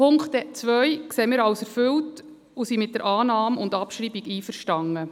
Punkt 2 sehen wir als erfüllt und sind mit der Annahme und Abschreibung einverstanden.